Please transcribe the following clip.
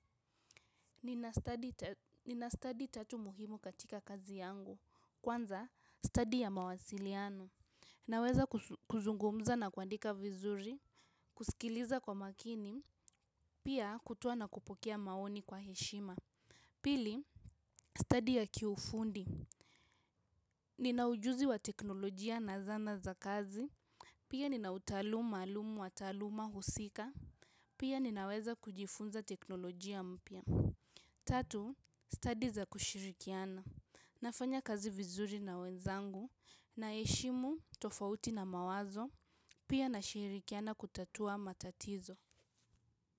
Nina study tatu muhimu katika kazi yangu, kwanza ni study ya mawasiliano. Naweza kuzungumza na kuandika vizuri, kusikiliza kwa makini, pia kutoa na kupokea maoni kwa heshima. Pili, stadi ya kiufundi. Nina ujuzi wa teknolojia na zana za kazi, pia nina utaalamu wa taaluma husika, pia ninaweza kujifunza teknolojia mpya. Tatu, studi za kushirikiana, nafanya kazi vizuri na wenzangu. Naheshimu tofauti na mawazo, pia nashirikiana kutatua matatizo.